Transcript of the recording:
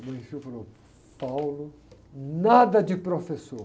nada de professor.